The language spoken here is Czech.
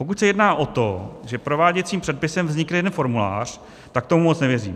Pokud se jedná o to, že prováděcím předpisem vznikne jeden formulář, tak tomu moc nevěřím.